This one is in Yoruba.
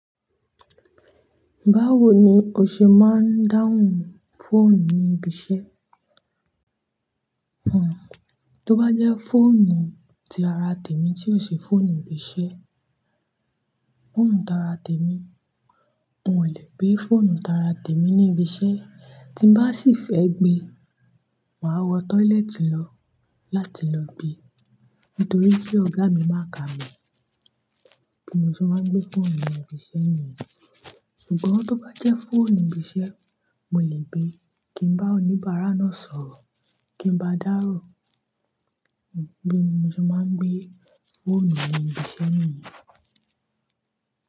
Báwo ni o ṣe máa ń dáhùn fóònù ní ibi iṣẹ́? Tó bá jẹ́ fóònù tí ara tèmi tí ò se fóònù ibi iṣẹ́, fóònù tara tèmi, n ò lè gbé fóònù tara tèmi ní ibi iṣẹ́. Tí n bá sì fẹ́ gbé, màá wọ toilet lọ láti lọ gbe. Nítorí pé ọ̀gá mi máa kà mí. Bí mo ṣe máa ń gbé fóònù ní ibi iṣẹ́ ni yẹn. Ṣùgbọ́n tó bá jẹ́ fóònù ibi iṣẹ́, mo lè gbé kí ń bá oníbàárà náà sọ̀rọ̀ kí ń bá a dárò. Bí mo ṣe máa ń gbé fóònù ní ibi iṣẹ́ niyẹn.